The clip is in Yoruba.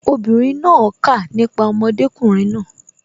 obìnrin náà pa nípa ọmọdékùnrin náà